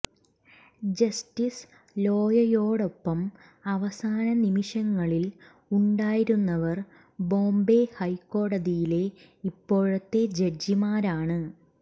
justice ലോയയോടൊപ്പം അവസാന നിമിഷങ്ങളിൽ ഉണ്ടായിരുന്നവർ ബോംബൈ ഹൈക്കോടതിയിലെ ഇപ്പോഴത്തെ ജഡ്ജിമാരാണ്